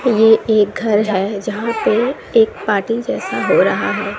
ये एक घर है जहां पे एक पार्टी जैसा हो रहा है।